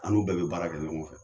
An n'u bɛɛ bɛ baara kɛ ɲɔgɔn fɛ.